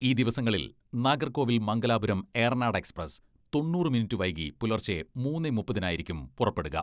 ഈ ദിവസങ്ങളിൽ നാഗർകോവിൽ മംഗലാപുരം ഏറനാട് എക്സ്പ്രസ് തൊണ്ണൂറ് മിനിറ്റ് വൈകി പുലർച്ചെ മൂന്നേ മുപ്പതിനായിരിക്കും പുറപ്പെടുക.